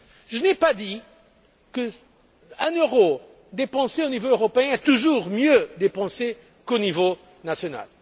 Je n'ai pas dit qu'un euro dépensé au niveau européen est toujours mieux dépensé qu'au niveau national.